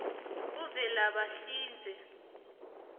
kuvelabahlinze